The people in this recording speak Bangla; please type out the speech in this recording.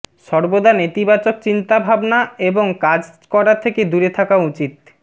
সর্বদা নেতিবাচক চিন্তাভাবনা এবং কাজ করা থেকে দূরে থাকা উচিত